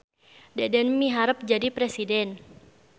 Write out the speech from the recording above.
Deden miharep jadi presiden